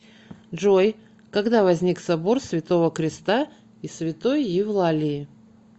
джой когда возник собор святого креста и святой евлалии